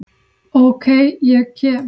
Ok, ég kem.